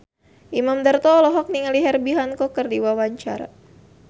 Imam Darto olohok ningali Herbie Hancock keur diwawancara